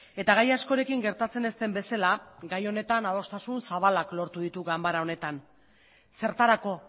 eta gai askorekin gertatzen ez den bezala gai honetan adostasun zabalak lortu ditu ganbara honetan zertarako